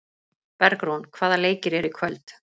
Bergrún, hvaða leikir eru í kvöld?